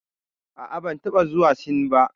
A'a, ban taɓa zuwa Sin ba.